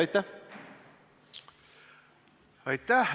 Aitäh!